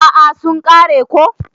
A'a sun kare ko.